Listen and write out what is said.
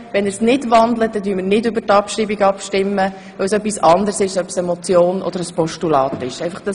Wenn er nicht wandelt, stimmen wir nicht über die Abschreibung ab, denn es ist etwas anderes, ob es sich um eine Motion oder um ein Postulat handelt.